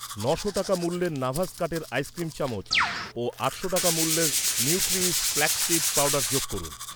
ন'শো টাকা মূল্যের নাভাস কাঠের আইসক্রিম চামচ ও আটশো টাকা মূল্যের নিউট্রিউইশ ফ্ল্যাক্স সীড পাউডার যোগ করুন।